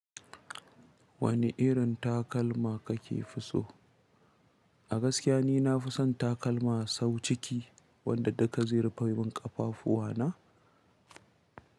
Wane irin takalma kake fi so? A gaskiya ni na fi son takalma sawu ciki wanda dukka zai rufe min ƙafafuwa na.